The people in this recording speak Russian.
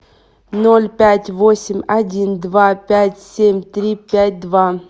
ноль пять восемь один два пять семь три пять два